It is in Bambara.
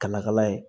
Kala kala ye